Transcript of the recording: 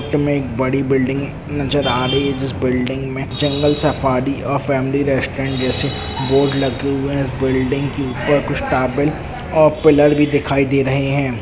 में एक बड़ी बिल्डिंग नजर आ रही है जिस बिल्डिंग में जंगल सफारी अ फैमिली रेस्टोरेंट जैसे बोर्ड लगे हुए हैं बिल्डिंग के ऊपर कुछ टॉवर और पिलर भी दिखाई दे रही है।